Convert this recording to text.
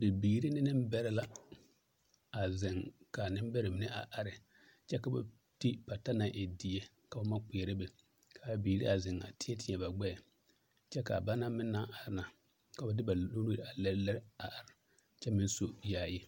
Bibiiri ne nembɛrɛ la a zeŋ ka a nembɛrɛ mine a are kyɛ ka ba ti pata naŋ e die ka noba kpeɛre be a biŋ a zeŋ a teɛ teɛ ba gbɛɛ kyɛ ka a ba naŋ are na ka ba de ba nuure a lere lere a are kyɛ meŋ su yaayi.